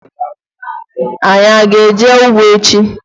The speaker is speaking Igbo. Anyị aga eje ụgbọ echi?